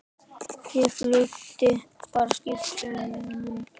Ég fylgdi bara skip unum.